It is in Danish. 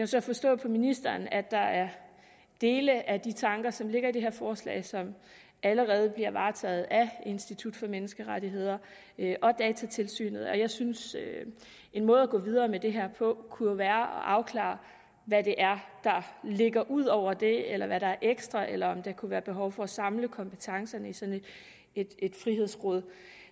så forstå på ministeren at der er dele af de tanker som ligger i det her forslag som allerede bliver varetaget af institut for menneskerettigheder og datatilsynet jeg synes at en måde at gå videre med det her på kunne være at afklare hvad det er der ligger ud over det eller er ekstra eller om der kunne være behov for at samle kompetencerne i sådan et frihedsråd